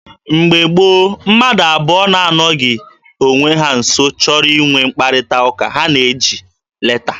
Na mgbe gboo, mmadụ abụọ na-anọghị onwe ha nso chọrọ inwe mkparịta ụka, ha na-eji leta.